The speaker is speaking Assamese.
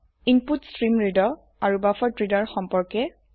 ইনপুটষ্ট্ৰীমৰিডাৰ আৰু বাফাৰেড্ৰেডাৰ ৰ সম্পৰ্কে